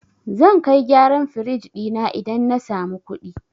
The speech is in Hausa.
Zan kai gyaran firij ɗina idan na samu kuɗi.